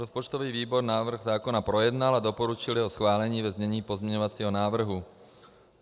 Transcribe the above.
Rozpočtový výbor návrh zákona projednal a doporučil jeho schválení ve znění pozměňovacího návrhu.